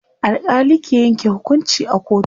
alkali ke Yanke hukunci a kotu